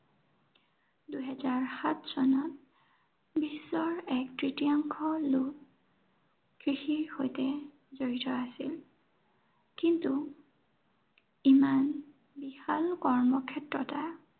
দুহেজাৰ সাত চনত বিশ্বৰ এক তৃতীয়াংশ লোক কৃষিৰ সৈতে জড়িত আছিল। কিন্তু ইমান বিশাল কৰ্ম ক্ষেত্ৰতা